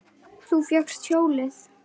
Þú fékkst hjólið!